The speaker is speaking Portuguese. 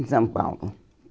Em São Paulo.